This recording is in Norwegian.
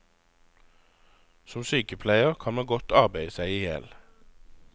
Som sykepleier kan man godt arbeide seg ihjel.